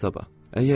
Elə sabah.